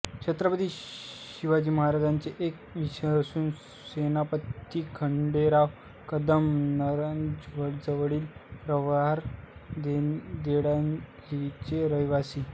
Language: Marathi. छत्रपती शिवरायांचे एक विश्वासू सेनापती खंडेराव कदम नगरजवळील प्रवरा देवळालीचे रहिवासी